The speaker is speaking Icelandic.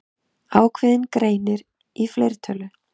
Ákveðinn greinir í fleirtölu.